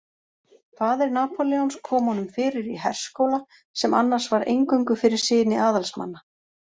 Faðir Napóleons kom honum fyrir í herskóla sem annars var eingöngu fyrir syni aðalsmanna.